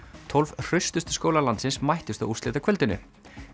tólf hraustustu skólar landsins mættust á úrslitakvöldinu